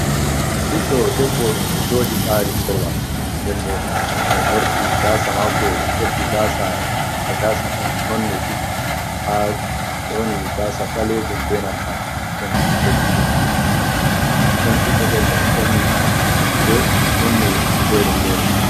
Ɓiɗɗo debbo e mo jooɗi ɓari korowal, nden boo mo morɗi gaasa maako ɓeddi gaasa no gaasa nonne ɗiɗi ha woni gaasa ɓalejum beenanta ɗon leddi-leddi. Ɗon ɓiɗɗo ɗoo mo ɓorni limse nonne fere-fere.